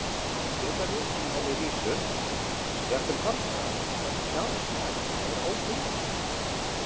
Það geta verið í henni vísur, jafnvel margar, en sjálf sagan er óbundin.